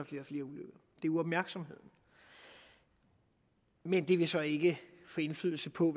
er uopmærksomheden men det vil så ikke få indflydelse på